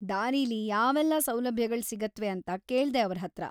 ದಾರಿಲಿ ಯಾವೆಲ್ಲಾ ಸೌಲಭ್ಯಗಳ್ ಸಿಗತ್ವೆ ಅಂತ ಕೇಳ್ದೆ ಅವ್ರ್‌ ಹತ್ರ.